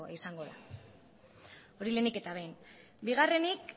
izango da hori lehenik eta behin bigarrenik